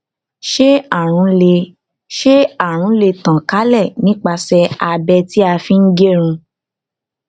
ṣé àrùn lè ṣé àrùn lè tàn kálẹ nípasẹ abẹ tí a fi ń gẹrun